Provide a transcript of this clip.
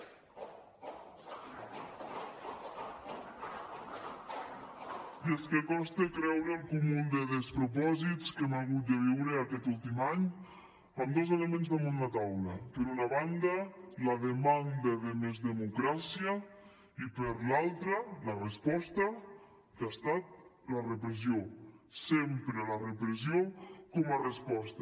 i és que costa creure el cúmul de despropòsits que hem hagut de viure aquest últim any amb dos elements damunt la taula per una banda la demanda de més democràcia i per l’altra la resposta que ha estat la repressió sempre la repressió com a resposta